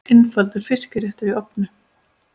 Einfaldur fiskréttur í ofni